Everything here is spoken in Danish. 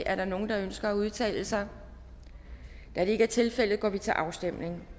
er der nogen der ønsker at udtale sig da det ikke er tilfældet går vi til afstemning